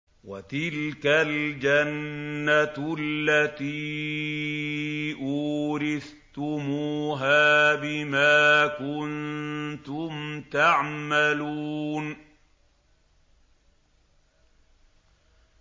وَتِلْكَ الْجَنَّةُ الَّتِي أُورِثْتُمُوهَا بِمَا كُنتُمْ تَعْمَلُونَ